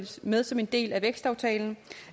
med som en del af vækstaftalen